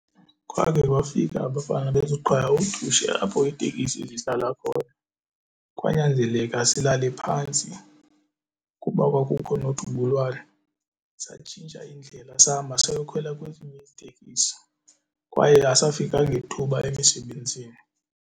Kwakhe kwafika abafana bezoqala udushe apho iitekisi zihlala khona kwanyanzeleka silale phantsi kuba kwakukho nodubulwano. Satshintsha indlela sahamba sayokhwela kwezinye iitekisi kwaye asafika ngethuba emisebenzini.